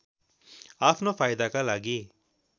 आफ्नो फाइदाका लागि